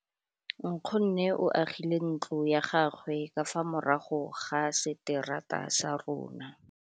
Nkgonne o agile ntlo ya gagwe ka fa morago ga seterata sa rona.